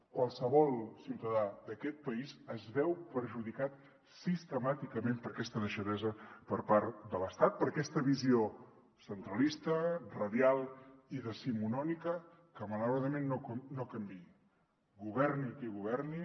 qualsevol ciutadà d’aquest país es veu perjudicat sistemàticament per aquesta deixadesa per part de l’estat per aquesta visió centralista radial i decimonònica que malauradament no canvia governi qui governi